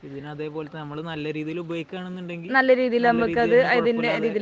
ഇതിന് അതേപോലെ നമ്മൾ നല്ല രീതിയിൽ ഉപയോഗിക്കുകയാണെങ്കിൽ നല്ല രീതിയിൽ കുഴപ്പമില്ലാതെ